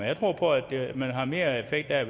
jeg tror på at man har mere effekt af